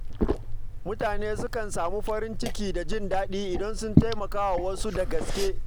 Mutane sukan samu farin ciki da jin daɗi idan sun taimaka wa wasu da gaske.